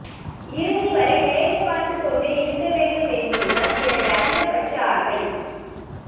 இறுதிவரை வேலை பார்த்துக் கொண்டே இருக்க வேண்டும் என்பது தான் எனது அதிகபட்ச ஆசை